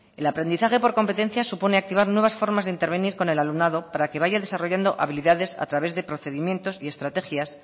el aprendizaje por competencias supone activar nuevas formas de intervenir con el alumnado para que vaya desarrollando habilidades a través de procedimientos y estrategias